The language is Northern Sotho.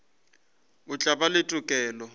o tla ba le tokelo